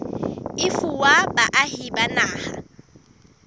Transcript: e fuwa baahi ba naha